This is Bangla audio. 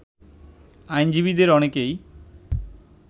আইনজীবীদের অনেকেই